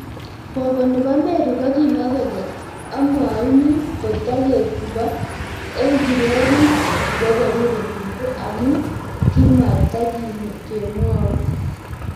koko nebo Mary kokimwa kole amwauni kotaketupo eng kererit ngoperuri mungu amu kimatikomwoi